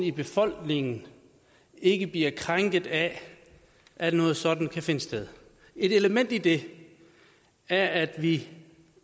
i befolkningen ikke bliver krænket af at noget sådant kan finde sted et element i det er at vi